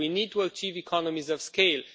We need to achieve economies of scale.